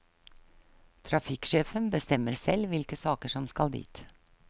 Trafikksjefen bestemmer selv hvilke saker som skal dit.